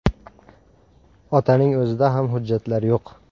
Otaning o‘zida ham hujjatlar yo‘q.